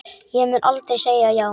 Ég mun aldrei segja já.